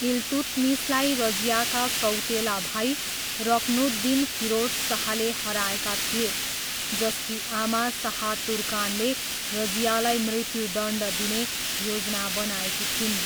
इल्तुत्मिसलाई रजियाका सौतेला भाइ रुक्नुद्दिन फिरोज शाहले हराएका थिए, जसकी आमा शाह तुर्कानले रजियालाई मृत्युदण्ड दिने योजना बनाएकी थिइन्।